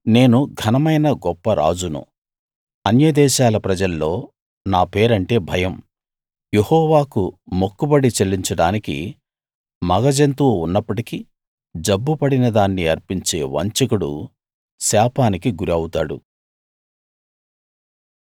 నేను ఘనమైన గొప్ప రాజును అన్య దేశాల ప్రజల్లో నా పేరంటే భయం యెహోవాకు మొక్కుబడి చెల్లించడానికి మగ జంతువు ఉన్నప్పటికీ జబ్బు పడిన దాన్ని అర్పించే వంచకుడు శాపానికి గురి అవుతాడు